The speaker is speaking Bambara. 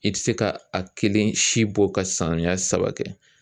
I ti se ka a kelen si bɔ ka samiya saba kɛ.